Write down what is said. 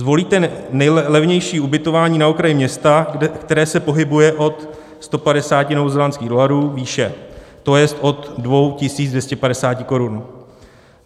Zvolíte nejlevnější ubytování na okraji města, které se pohybuje od 150 novozélandských dolarů výše, to jest od 2 250 korun.